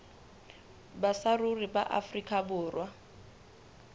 ba saruri ba afrika borwa